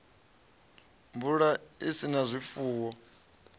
mvula i sa na zwifuwo